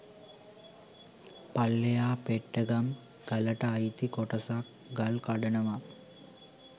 පල්ලෙහා පෙට්ටගම් ගලට අයිති කොටසක් ගල් කඩනවා.